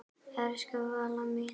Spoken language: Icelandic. Elsku Valla mín.